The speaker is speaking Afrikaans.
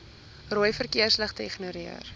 rooi verkeersligte ignoreer